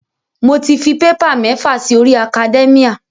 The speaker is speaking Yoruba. Mo ti fi paper mẹ́fà si orí academia.